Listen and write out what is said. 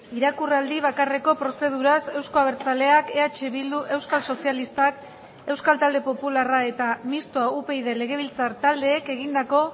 irakurraldi bakarreko prozeduraz euzko abertzaleak eh bildu euskal sozialistak euskal talde popularra eta mistoa upyd legebiltzar taldeek egindako